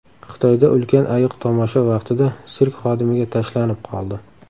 Xitoyda ulkan ayiq tomosha vaqtida sirk xodimiga tashlanib qoldi .